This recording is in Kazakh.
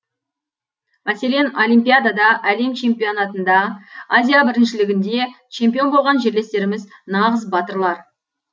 мәселен олимпиадада әлем чемпионатында азия біріншілігінде чемпион болған жерлестеріміз нағыз батырлар